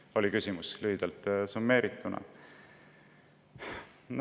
See oli küsimuse sisu lühidalt summeerituna.